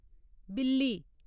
बिल्ली